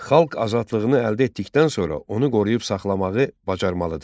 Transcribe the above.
Xalq azadlığını əldə etdikdən sonra onu qoruyub saxlamağı bacarmalıdır.